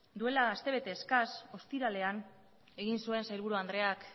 duela astebete eskas ostiralean egin zuen sailburu andreak